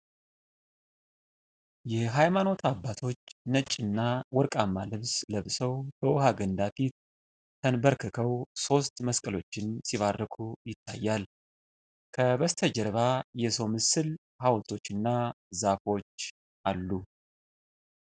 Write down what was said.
የሃይማኖት አባቶች ነጭና ወርቃማ ልብስ ለብሰው በውሃ ገንዳ ፊት ተንበርክከው ሦስት መስቀሎችን ሲባርኩ ይታያል። ከበስተጀርባ የሰው ምስል ሐውልቶችና ዛፎች አሉ።